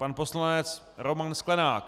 Pan poslanec Roman Sklenák.